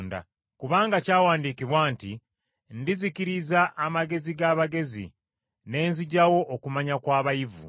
Kubanga kyawandiikibwa nti, “Ndizikiriza amagezi g’abagezi, ne nzigyawo okumanya kw’abayivu.”